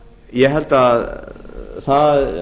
ég held að það